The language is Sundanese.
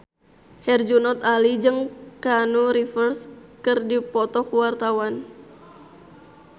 Herjunot Ali jeung Keanu Reeves keur dipoto ku wartawan